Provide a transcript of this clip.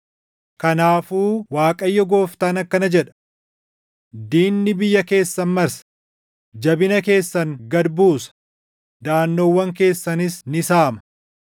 Kanaafuu Waaqayyo Gooftaan akkana jedha: “Diinni biyya keessan marsa; jabina keessan gad buusa; daʼannoowwan keessanis ni saama.”